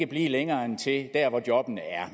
blive længere end indtil jobbene er